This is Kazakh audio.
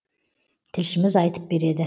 тілшіміз айтып береді